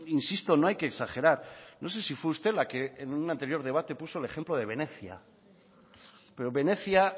insisto no hay que exagerar no sé si fue usted la que en un anterior debate puso el ejemplo de venecia pero venecia